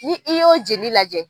Ni i y'o jeli lajɛ